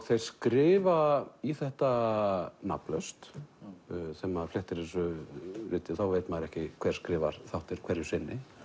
þeir skrifa í þetta nafnlaust þegar maður flettir þessu riti þá veit maður ekki hver skrifar þáttinn hverju sinni